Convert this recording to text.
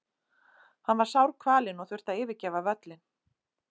Hann var sárkvalinn og þurfti að yfirgefa völlinn.